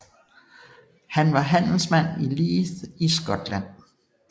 Han var handelsmand i Leith i Skotland